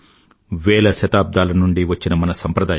వేల శతబ్దాల నుండీ వచ్చిన మన సంప్రదాయం